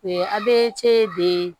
A bɛ ce de